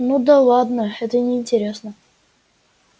ну да ладно это неинтересно